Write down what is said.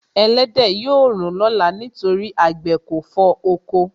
Ẹlẹ́dẹ̀ yóò rùn lọ́la nítorí àgbẹ̀ kò fọ oko.